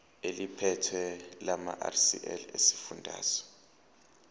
eliphethe lamarcl esifundazwe